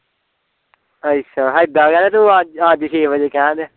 ਅੱਛਾ ਹੇਦਾ ਕਹਿ ਤੇ ਤੂੰ ਅੱਜ ਅੱਜ ਛੇ ਵਜੇ ਕਹਿਣ ਡਿਆ